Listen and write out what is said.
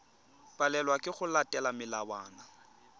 palelwa ke go latela melawana